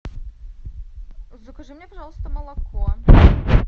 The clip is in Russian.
закажи мне пожалуйста молоко